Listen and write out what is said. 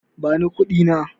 Bani kuɗi na.